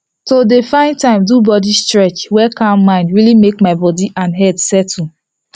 to dey find time do body stretch wey calm mind really make my body and head settle